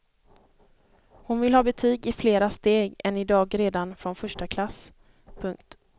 Hon vill ha betyg i flera steg än i dag redan från första klass. punkt